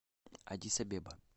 аддис абеба